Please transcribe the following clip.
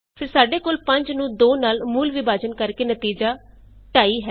ਫੇਰ ਸਾਡੇ ਕੋਲ 5 ਨੂੰ 2 ਨਾਲ ਮੂਲ ਵਿਭਾਜਨ ਕਰਕੇ ਨਤੀਜਾ 250 ਹੈ